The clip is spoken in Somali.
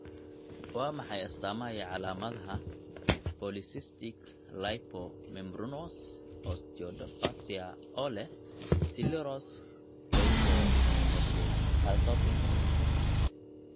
Waa maxay astamaha iyo calaamadaha polycystic lipomembranous osteodysplasia ee leh sclerosis leukoencephalopathy?